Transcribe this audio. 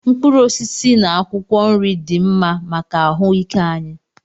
Mkpụrụ osisi na akwụkwọ nri dị mma maka ahụ ike anyị.